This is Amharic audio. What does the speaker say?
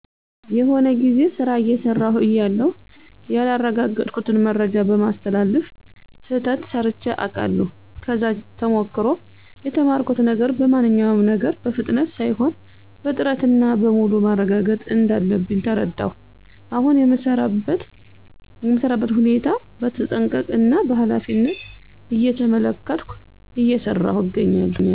የሆነ ጊዜ ስራ አየሰራው እያለሁ ያላረጋገጥኩትን መረጃ በማስተላለፍ ስህተት ሰርቼ አቃለሁ። ከዛ ተሞክሮ የተማርኩት ነገር በማንኛውም ነገር በፍጥነት ሳይሆን በጥረት እና በሙሉ ማረጋገጥ እንዳለብኝ ተረዳሁ። አሁን የምሰራበትን ሁኔታ በተጠንቀቀ እና በኃላፊነት እየተመለከትኩ እየሰራው እገኛለሁ።